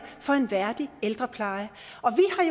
for en værdig ældrepleje